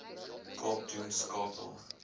kaap doen skakel